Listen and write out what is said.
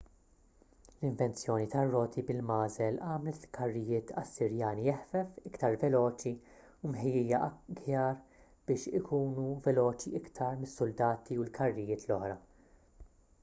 l-invenzjoni tar-roti bil-magħżel għamlet il-karrijiet assirjani eħfef iktar veloċi u mħejjija aħjar biex ikunu veloċi iktar mis-suldati u l-karrijiet l-oħra